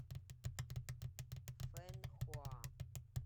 фэнхуа